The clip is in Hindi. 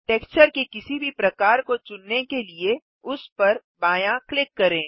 टेक्सचर के किसी भी प्रकार को चुनने के लिए उस पर बायाँ क्लिक करें